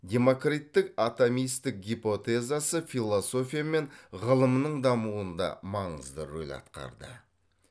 демокриттік атомистік гипотезасы философия мен ғылымның дамуында маңызды рөл атқарды